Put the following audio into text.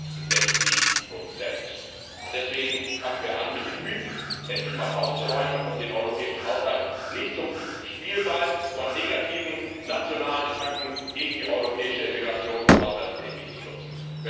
62 Deswegen fangen wir endlich einmal an, mit den Mythen aufzuräumen, und den europäischen Haushalt nicht zum Spielball von negativen nationalen Attacken gegen die europäische Integrations und Haushaltspolitik zu nützen.